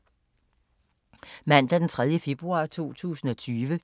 Mandag d. 3. februar 2020